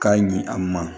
K'a ɲi a ma